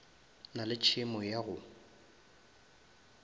na le tšhemo ya go